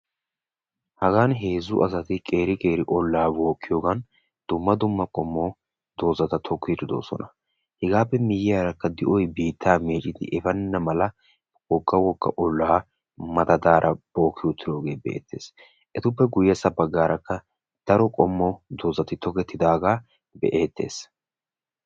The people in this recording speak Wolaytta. hagan heezzu asati dumma dumma olaa bookiyoogan zigata tokiidi de'oosona. etappe miyiyaara di'oy biittaa meeccidi efeenna mala wogga wogga olaa madadaara bookki uttidoogee beetees. etappe qommo bagaara daro qommo dazati tokketidaagaa be'eetees.